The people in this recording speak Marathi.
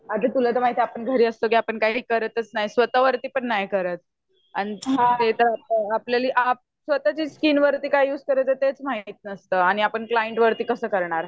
अगं तुला तर माहिती आहे आपण घरी असलो की आपण काही करतच नाही स्वतःवर पण नाही करत स्वतःच्या स्किनवर काय युज करायच तेच माहिती नसत, आपण क्लिाएन्ट वरती कसं करणार?